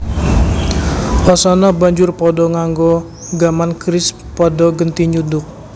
Wasana banjur padha nganggo gaman keris padha genti nyuduk